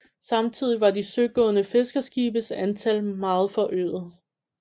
Samtidig var de søgående fiskerskibes antal meget forøget